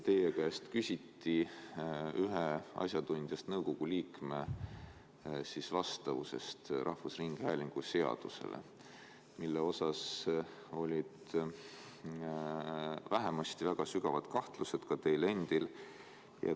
Teie käest küsiti ühe asjatundjast nõukogu liikme vastavuse kohta rahvusringhäälingu seadusele, mille suhtes olid vähemasti väga sügavad kahtlused ka teil endal.